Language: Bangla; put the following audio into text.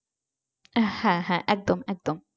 হ্যাঁ হ্যাঁ একদম একদম।